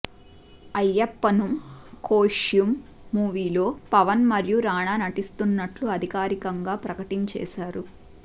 అయ్యప్పనుమ్ కోషియుమ్ మూవీలో పవన్ మరియు రానా నటిస్తున్నట్లు అధికారికరంగా ప్రకటించేశారు